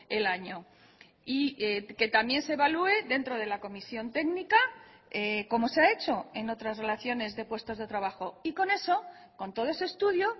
el año y que también se evalúe dentro de la comisión técnica como se ha hecho en otras relaciones de puestos de trabajo y con eso con todo ese estudio